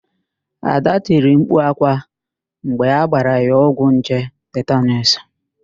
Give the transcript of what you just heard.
Ada tiri mkpu ákwá mgbe agbara ya ọgwụ nje tetanuus.